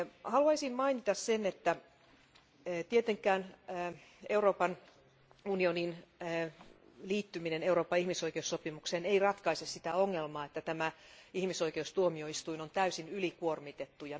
Haluaisin mainita sen, että tietenkään Euroopan unionin liittyminen Euroopan ihmisoikeussopimukseen ei ratkaise sitä ongelmaa, että ihmisoikeustuomioistuin on täysin ylikuormitettu.